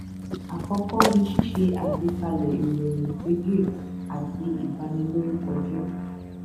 àkọkọ ni ṣíṣe àgbékalẹ ìròyìn òfegè àti ìbanilórúkọjẹ